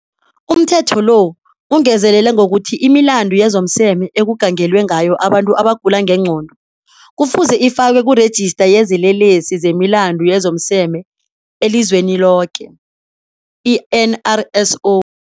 UmThetho lo ungezelela ngokuthi imilandu yezomseme ekugangelwe ngayo abantu abagula ngengqondo kufuze ifakwe kuRejista yezeLelesi zemiLandu yezomSeme eliZweniloke, i-NRSO.